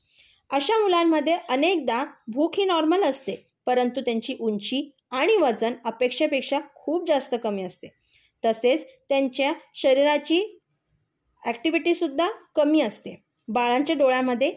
अशा मुलांमध्ये अनेकदा भूक ही नॉर्मल असते परंतु त्यांची ऊंची आणि वजन अपेक्षेपेक्षा खूप जास्त कमी असते तसेच त्यांच्या शरीराची अॅक्टिविटीसुद्धा कमी असते. बाळांच्या डोळ्यांमध्ये